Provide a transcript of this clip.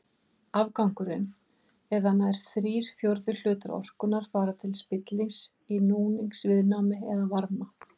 Afgangurinn eða nær þrír fjórðu hlutar orkunnar fara til spillis í núningsviðnámi eða varma.